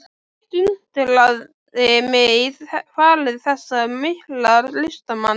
Eitt undraði mig í fari þessa mikla listamanns.